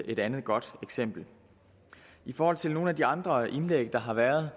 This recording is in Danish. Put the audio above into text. et andet godt eksempel i forhold til nogle af de andre indlæg der har været